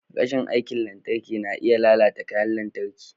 Rashin aikin lantarki na iya lalata kayan lantarki.